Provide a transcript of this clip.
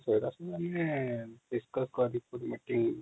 ହଁ ସେଇଟା ତ ଆମେ ପଚାରିକି ମିଟିଂ